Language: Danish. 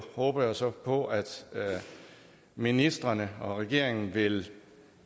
håber jeg så på at ministrene og regeringen vil